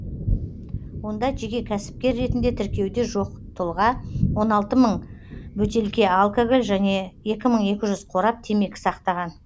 онда жеке кәсіпкер ретінде тіркеуде жоқ тұлға он алты мың бөтелке алкоголь және екі мың екі жүз қорап темекі сақтаған